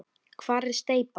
Hvar er steypan?